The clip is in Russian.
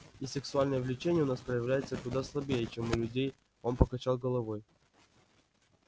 и сексуальное влечение у нас проявляется куда слабее чем у людей он покачал головой